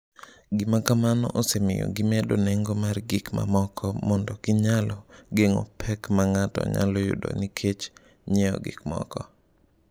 Gima kamano osemiyo gimedo nengo mar gik mamoko mondo ginyalo geng’o pek ma ng’ato nyalo yudo nikech ng’iewo gikmoko.